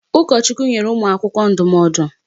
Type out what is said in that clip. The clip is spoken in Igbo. Ụkọchukwu nyere ụmụ akwụkwọ ndụmọdụ.